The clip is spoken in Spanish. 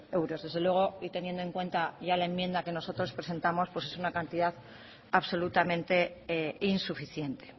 euros desde luego y teniendo en cuenta ya la enmienda que nosotros presentamos pues es una cantidad absolutamente insuficiente